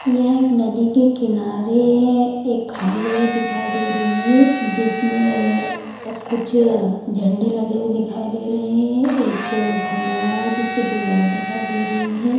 ये एक नदी के किनारे एक खाली जगह दिखाई दे रही है जिसमे आ कुछ झंडे लगे हुए दिखाई दे रहे है एक खंभा लगा है जिसपे दो लाइट दिखाई दे रही है ।